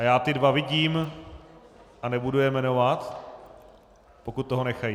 A já ty dva vidím a nebudu je jmenovat, pokud toho nechají.